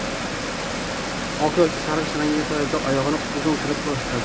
Oq yoki sarg‘ish rangdagi poyabzal oyoqni uzun qilib ko‘rsatadi.